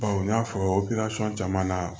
n y'a fɔ caman na